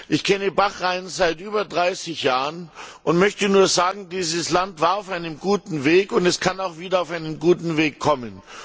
Ich kenne Bahrain seit über dreißig Jahren und möchte nur sagen, dieses Land war auf einem guten Weg, und es kann auch wieder auf einen guten Weg kommen.